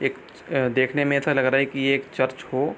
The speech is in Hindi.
एक अ देखने में ऐसा लग रहा है कि ये एक चर्च हो।